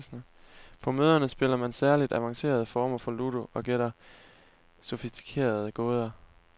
På møderne spiller man særligt avancerede former for ludo og gætter sofistikerede gåder.